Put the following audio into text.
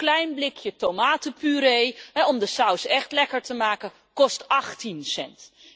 Zo'n klein blikje tomatenpuree om de saus echt lekker te maken, kost 18 cent.